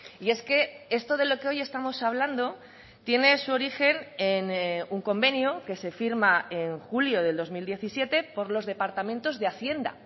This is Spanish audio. y es que esto de lo que hoy estamos hablando tiene su origen en un convenio que se firma en julio del dos mil diecisiete por los departamentos de hacienda